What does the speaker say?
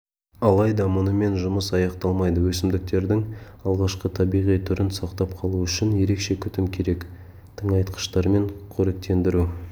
алайда мұнымен жұмыс аяқталмайды өсімдіктердің алғашқы табиғи түрін сақтап қалу үшін ерекше күтім керек тыңайтқыштармен қоректендіру